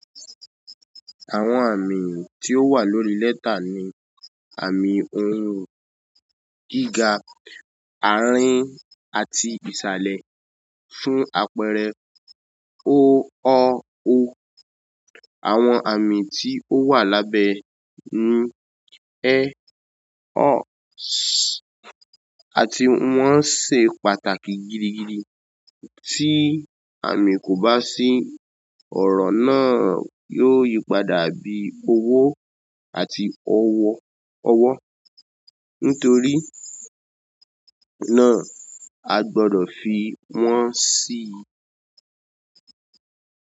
Àwọn àmì tí ó wà lórí lẹ́tà ni àmì ohùn gíga, àárín àti ìsàlẹ̀. Fún àpẹẹrẹ, O, Ọ, O. Àwọn àmì tí ó wà lábẹ́ ni ẹ, ẹ́, ṣ, àti wọ́n ṣe pàtàkì gidi gidi. Tí àmì kò bá sí, ọ̀rọ̀ náà yóò yípadà bí owó àti ọwọ́, ọwọ́. Nítorí náà, a gbọdọ̀ fi wọ́n sí i.